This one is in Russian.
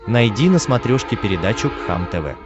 найди на смотрешке передачу кхлм тв